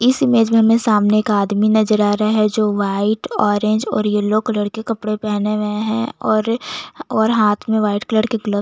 इस इमेज में हमें एक आदमी नजर आ रहै है जो वाइट येल्लो और ऑरेंज कलर के कपडे पहने है और और हाथ में वाइट कलर के ग्लब--